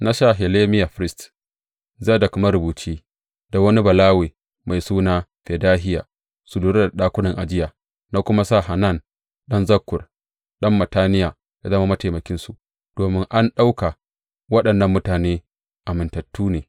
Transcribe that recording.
Na sa Shelemiya firist, Zadok marubuci, da wani Balawe mai suna Fedahiya su lura da ɗakunan ajiya na kuma sa Hanan ɗan Zakkur, ɗan Mattaniya ya zama mataimakinsu, domin an ɗauka waɗannan mutane amintattu ne.